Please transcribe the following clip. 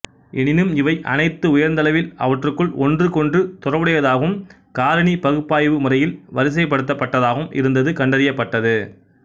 எனினும் இவை அனைத்தும் உயர்ந்தளவில் அவற்றுக்குள் ஒன்றுக்கொன்று தொடர்புடையதாகவும் காரணி பகுப்பாய்வு முறையில் வரிசைப்படுத்தப்பட்டதாகவும் இருந்தது கண்டறியப்பட்டது